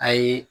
A ye